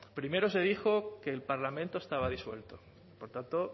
primero se dijo que el parlamento estaba disuelto por tanto